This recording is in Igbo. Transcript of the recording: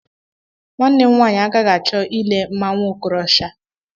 Nwanne m nwaanyị agaghị achọ ile mmanwụ Okorosha.